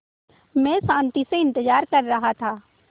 मैं शान्ति से इंतज़ार कर रहा था